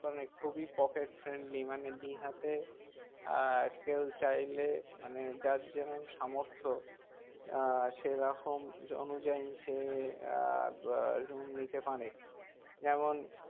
মানে খুবই pocket friendly মানে দীঘাতে আহ কেউ চাইলে মানে যার যেরকম সামর্থ আহ সেরকম অনুযায়ী সে আহ বাঃ room নিতে পারে যেমন